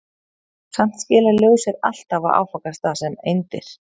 Samt skilar ljós sér alltaf á áfangastað sem eindir.